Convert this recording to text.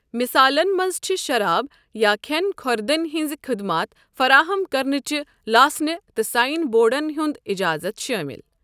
مِثالن منٛز چھِ شراب یا کھٮ۪ن کھۄردٔنی ہنٛزٕ خٕدمات فراہم کرنٕچہِ لاسنہٕ تہٕ سایِن بورڑن ہٗند اِجازت شٲمِل۔